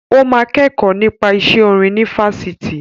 Ó máa kẹ́kọ̀ọ́ nípa iṣẹ́ orin ní Fáṣítì.